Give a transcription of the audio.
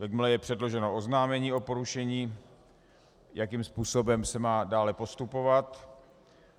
Jakmile je předloženo oznámení o porušení, jakým způsobem se má dále postupovat.